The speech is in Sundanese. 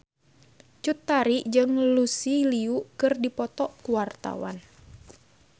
Cut Tari jeung Lucy Liu keur dipoto ku wartawan